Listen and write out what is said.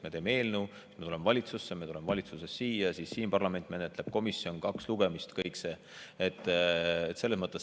Me teeme eelnõu, me tuleme valitsusse, me tuleme valitsusest siia, siis menetleb parlament, komisjon, on kaks lugemist, kõik see.